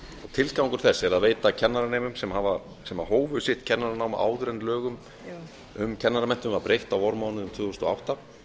tilgangur þess er að veita kennaranemum sem hófu sitt kennaranám áður en lögum um kennaranám var breytt á vormánuðum tvö þúsund og átta